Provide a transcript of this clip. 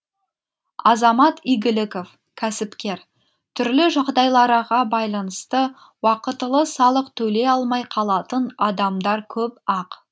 азамат игіліков кәсіпкер түрлі жағдайларға байланысты уақытылы салық төлей алмай қалатын адамдар көп ақ